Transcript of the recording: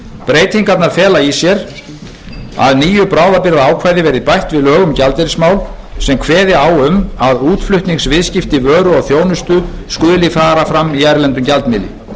breytingarnar fela í sér að nýju bráðabirgðaákvæði verði bætt við lög um gjaldeyrismál sem kveði á um að útflutningsviðskipti vöru og þjónustu skuli fara fram í erlendum gjaldmiðli